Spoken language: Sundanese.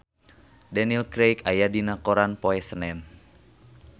Daniel Craig aya dina koran poe Senen